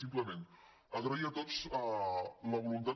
simplement agrair a tots la voluntat